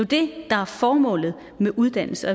det der er formålet med uddannelse